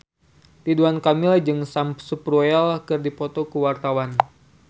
Ridwan Kamil jeung Sam Spruell keur dipoto ku wartawan